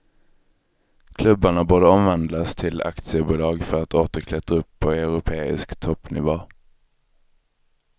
Klubbarna borde omvandlas till aktiebolag för att åter klättra upp på europeisk toppnivå.